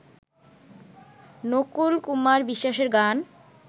নকুল কুমার বিশ্বাসের গান